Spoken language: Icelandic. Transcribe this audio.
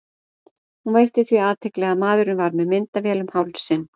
Hún veitti því athygli að maðurinn var með myndavél um hálsinn.